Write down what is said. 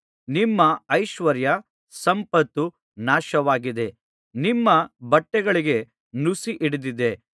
ನಿಮ್ಮ ಐಶ್ವರ್ಯ ಸಂಪತ್ತು ನಾಶವಾಗಿದೆ ನಿಮ್ಮ ಬಟ್ಟೆಗಳಿಗೆ ನುಸಿ ಹಿಡಿದಿದೆ